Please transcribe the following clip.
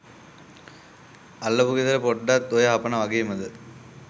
අල්ලපු ගෙදර පොඩ්ඩත් ඔය හපනා වගේමද.